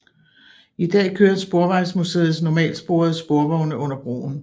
I dag kører Sporvejsmuseets normalsporede sporvogne under broen